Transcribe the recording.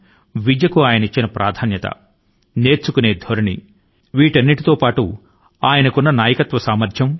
విద్య పై ఆయనకు ఉన్న ప్రేమ నేర్చుకోవాలనే తాపత్రయం నాయకత్వ సామర్థ్యం